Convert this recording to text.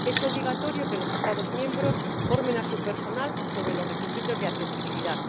Es obligatorio que los Estados miembros formen a su personal sobre los requisitos de accesibilidad.